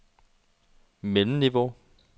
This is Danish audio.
mellemniveau